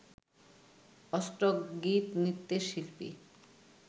অষ্টক গীত, নৃত্যের শিল্পী